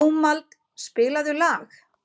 Dómald, spilaðu lag.